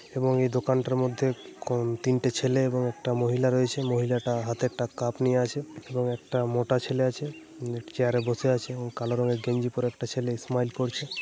এবং এই দোকানটার কন মধ্যে তিনটে ছেলে এবং একটা মহিলা রয়েছে। মহিলাটা হাতে একটা কাপ নিয়ে আছে। এবং একটা মোটা ছেলে আছে। একটি চেয়ার-এ বসে আছে। এবং কালো রঙের গেঞ্জি পরে একটা ছেলে স্মাইল করছে।